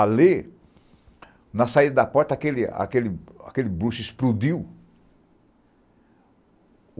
Ali, na saída da porta, aquele bruxo explodiu.